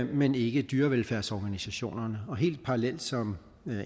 men ikke dyrevelfærdsorganisationerne og helt parallelt som